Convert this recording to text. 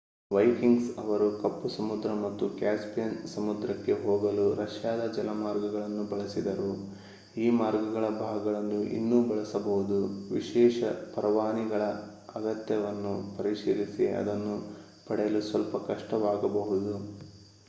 Vikings ಅವರು ಕಪ್ಪು ಸಮುದ್ರ ಮತ್ತು ಕ್ಯಾಸ್ಪಿಯನ್ ಸಮುದ್ರಕ್ಕೆ ಹೋಗಲು ರಷ್ಯಾದ ಜಲಮಾರ್ಗಗಳನ್ನು ಬಳಸಿದರು ಈ ಮಾರ್ಗಗಳ ಭಾಗಗಳನ್ನು ಇನ್ನೂ ಬಳಸಬಹುದು ವಿಶೇಷ ಪರವಾನಗಿಗಳ ಅಗತ್ಯವನ್ನು ಪರಿಶೀಲಿಸಿ ಅದನ್ನು ಪಡೆಯಲು ಸ್ವಲ್ಪ ಕಷ್ಟವಾಗಬಹುದು